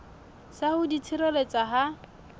sa ho di tshireletsa ha